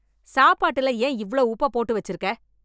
சாப்பாடுல ஏன் இவ்வளவு உப்பு போட்டு வச்சிருக்க?